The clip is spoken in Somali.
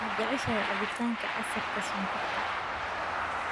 Ma jeceshahay cabitaanka casiirka sonkorta